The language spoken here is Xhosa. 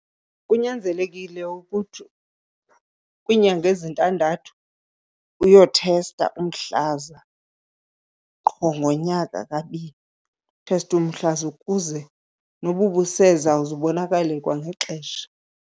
Kunyanzelekile ukuthi kwiinyanga ezintandathu uyothesta umhlaza qho ngonyaka kabini, utheste umhlaza ukuze noba ubuseza uzubonakale kwangexesha.